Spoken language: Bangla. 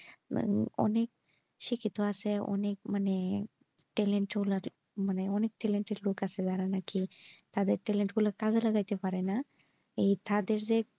মানে অনেক শিক্ষিত আছে অনেক মানে talent মানে অনেক talented লোক আছে যারা নাকি তাদের talent গুলা কাজে ব্লগাতে পারেনা এই তাদের যে,